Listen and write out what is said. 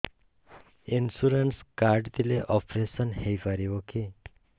insurance card ଥିଲେ operation ହେଇପାରିବ କି